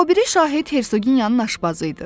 O biri şahid hersoqinyanın aşbazı idi.